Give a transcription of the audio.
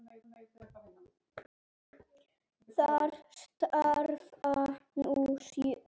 Þar starfa nú sjö manns.